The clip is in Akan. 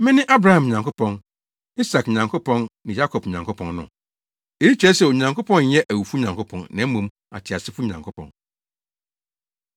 ‘Mene Abraham Nyankopɔn, Isak Nyankopɔn ne Yakob Nyankopɔn no?’ Eyi kyerɛ sɛ, Onyankopɔn nyɛ awufo Nyankopɔn na mmom, ateasefo Nyankopɔn.”